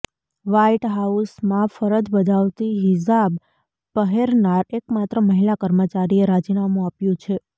white હાઉસમાં ફરજ બજાવતી હિજાબ પહેરનાર એકમાત્ર મહિલા કર્મચારીએ રાજીનામું આપ્યું છે